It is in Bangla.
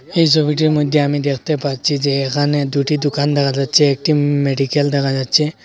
এই ছবিটার মইধ্যে আমি দেখতে পাচ্ছি যে এখানে দুইটি দোকান দেখা যাচ্ছে একটি মেডিকেল দেখা যাচ্ছে।